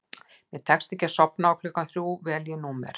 Mér tekst ekki að sofna og klukkan þrjú vel ég númer